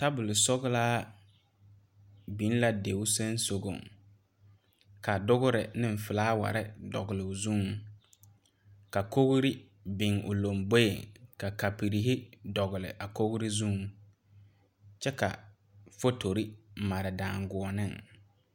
Tabol sɔglaa biŋ la dio sonsogre ka dogre ne flowers dogle o zuŋ ka kogri biŋ o lanboɛ ka kapure dogle o kogri zuŋ kyɛ ka fuutore mare dangɔɔne.